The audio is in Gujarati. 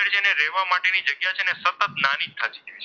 સતત નાની જ થતી જાય.